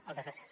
moltes gràcies